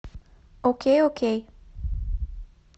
окей окей